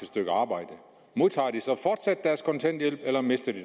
stykke arbejde modtager de så fortsat kontanthjælp eller mister de